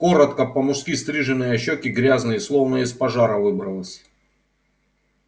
коротко по-мужски стриженная щеки грязные словно из пожара выбралась